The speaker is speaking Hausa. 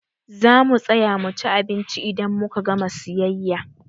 Zamu tsaya muci abinci idan muka gama siyayya.